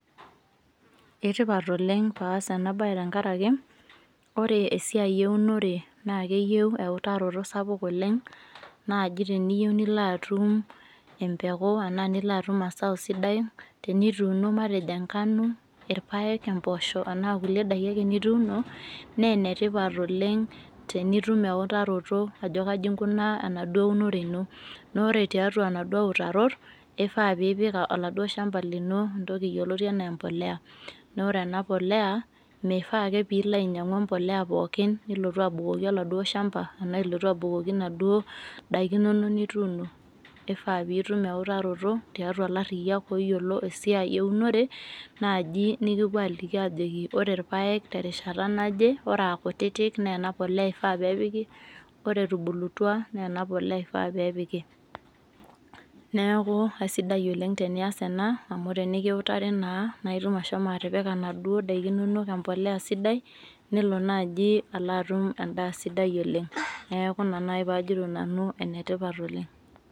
eitipat oleng paas ena bae tenkaraki, ore esiai eunore naa keyieu eutarato sapuk oleng. naaji teniyieu nilo atum empeku, naa nilo atum asao sidai, tenituuno. matejo engano, irpaek, naa kulie daiki ake nituuno. naa ene tipat oleng tenitum eutaroto, ajo kaji inkunaa enaduoo unore ino. naa ore tiatua inaduoo utarot ifaa, pee ipik oladuo shampa lino entoki yioloti anaa empuliya, naa ore ena puliya mifaa ake pe ilo ainyiang'u empuliya pookin. nilotu, abukoki oladuo shampa, anaa ilotu abukoki, inaduo daiki inono nituuno. kifaa nitum eutaroto tiatua ilariyiak ooyiolo, esiai eunore, naaji nikipuo aaliki ajo. ore irpaek terishata najeore amu, ikutitik naa ena puliya ifaa nepiki, ore etubulutua naa ena puliya ifaa pee epiki. neeku aisidia oleng tenias ena. amu tenikiutari naa i, naa itum ashomo atipika, inaduoo daikin inonok empuliya sidai, nelo naaji atum edaa sidai oleng. neku ina naji pee ajito nanu enetipat oleng.